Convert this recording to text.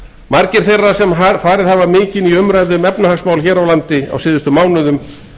margir þeirra sem farið hafa mikinn í umræðu um efnahagsmál hér á landi á síðustu mánuðum